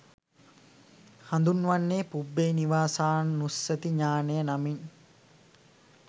හඳුන්වන්නේ පුබ්බේ නිවාසානුස්සති ඤාණය නමින්.